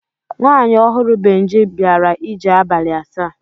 Nwaanyị ọhụrụ Benji bịara ije abalị asaa.